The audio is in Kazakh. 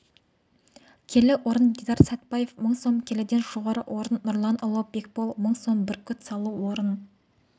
келі орын дидар сәтбаев сың сом келіден жоғары орын нұрланұлы бекбол мың сом бүркіт салу орын